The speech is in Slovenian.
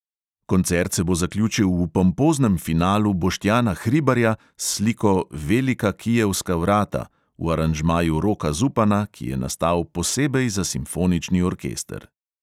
Koncert se bo zaključil v pompoznem finalu boštjana hribarja s sliko velika kijevska vrata, v aranžmaju roka zupana, ki je nastal posebej za simfonični orkester.